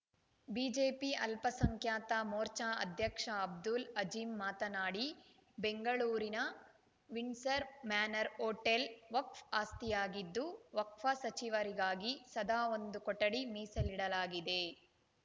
BJP ಅಲ್ಪಸಂಖ್ಯಾತ ಮೋರ್ಚಾ ಅಧ್ಯಕ್ಷ ಅಬ್ದುಲ್‌ ಅಜೀಂ ಮಾತನಾಡಿ ಬೆಂಗಳೂರಿನ ವಿಂಡ್ಸರ್‌ ಮ್ಯಾನರ್‌ ಹೊಟೇಲ್‌ ವಕ್ಫ್ ಆಸ್ತಿಯಾಗಿದ್ದು ವಕ್ಪ್‌ ಸಚಿವರಿಗಾಗಿ ಸದಾ ಒಂದು ಕೊಠಡಿ ಮೀಸಲಿಡಲಾಗಿದೆ